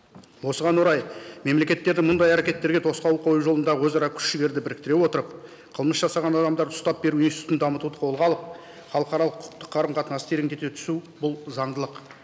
осыған орай мемлекеттерді мұндай әрекеттерге тосқауыл қою жолында өзара күш жігерді біріктіре отырып қылмыс жасаған адамдарды ұстап беру институтын дамытуды қолға алып халықаралық құқықты қарым қатынасты тереңдете түсу бұл заңдылық